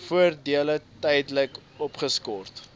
voordele tydelik opgeskort